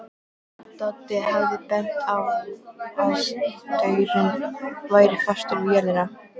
Doddi hafði bent á að staurinn væri fastur við jörðina.